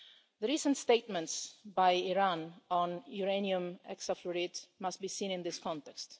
The recent statements by Iran on uranium hexafluoride must be seen in this context.